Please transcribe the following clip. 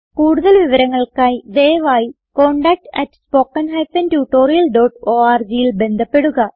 കുടുതൽ വിവരങ്ങൾക്കായി ദയവായി contactspoken tutorialorgൽ ബന്ധപ്പെടുക